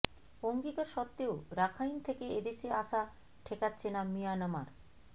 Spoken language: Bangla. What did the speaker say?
অঙ্গীকার সত্ত্বেও রাখাইন থেকে এ দেশে আসা ঠেকাচ্ছে না মিয়ানমার